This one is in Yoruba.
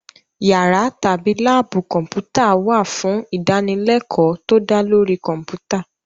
Yàrá tàbí láàbù Kọ̀m̀pútà wà fún ìdánilẹ́kọ̀ọ́ tó dá lórí Kọ̀m̀pútà